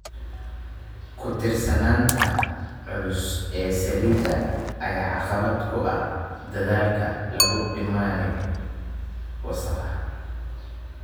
Ku tiirsanaanta culus ee saliidda ayaa caqabad ku ah dadaalka lagu dhimayo wasakhda.